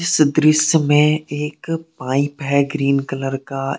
इस दृश्य में एक पाइप है ग्रीन कलर का।